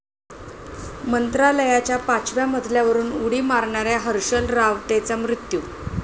मंत्रालयाच्या पाचव्या मजल्यावरून उडी मारणाऱ्या हर्षल रावतेचा मृत्यू